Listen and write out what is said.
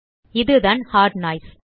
இதுதான் heart noise